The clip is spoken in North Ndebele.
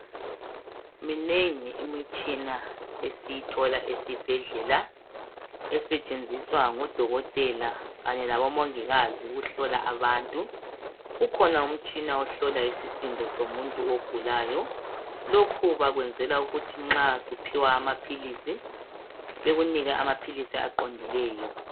Minengi imitshina esiyithola esibhedlela, esetshenziswa ngodokotela kanye labomongikazi ukuhlola abantu. Ukhona umtshina ohlola isisindo somuntu ogulayo. Lokhu bakuyenzelwa ukuthi nxa usuphiwa amaphilisi, bekunike amaphilisi aqondileyo.